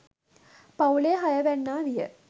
පවුලේ හය වැන්නා විය.